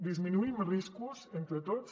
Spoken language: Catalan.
disminuïm riscos entre tots